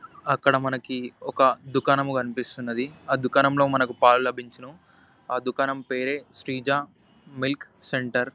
అక్కడ మనకి ఒక దుకాణము కనిపిస్తున్నది. ఆ దుకాణంలో మనకు పాలు లభించును. ఆ దుకాణం పేరే శ్రీజ మిల్క్ సెంటర్ .